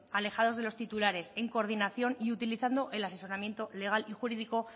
alejados de los titulares en coordinación y utilizando el asesoramiento legal y jurídico